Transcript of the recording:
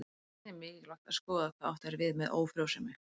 Einnig er mikilvægt að skoða hvað átt er við með ófrjósemi.